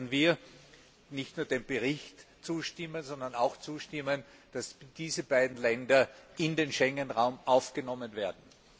Daher werden wir nicht nur dem Bericht zustimmen, sondern auch zustimmen, dass diese beiden Länder in den Schengen Raum aufgenommen werden.